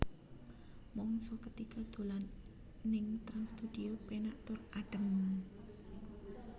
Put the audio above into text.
Mangsa ketiga dolan ning Trans Studio penak tur adem